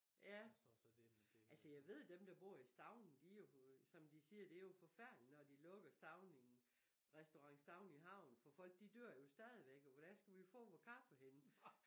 Ja altså jeg ved dem der bor i Stauning de jo som de siger det jo forfærdeligt når de lukker Stauning restaurant Stauning i havn fordi folk dør jo stadigvæk og hvor da skal vi få vor kaffe henne?